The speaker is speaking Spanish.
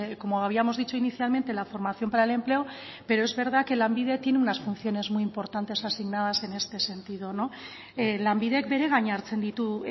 como habíamos dicho inicialmente la formación para el empleo pero es verdad que lanbide tiene unas funciones muy importantes asignadas en este sentido lanbidek beregain hartzen ditu